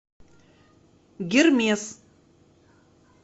гермес